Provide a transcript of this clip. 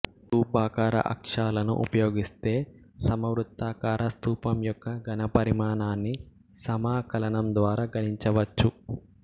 స్థూపాకార అక్షాలను ఉపయోగిస్తే సమ వృత్తాకార స్థూపం యొక్క ఘనపరిమాణాన్ని సమాకలనం ద్వారా గణించవచ్చు